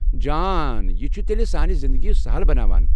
جان، یہِ چھٗ تیلہِ سانہِ زِندگی سہل بناوان ۔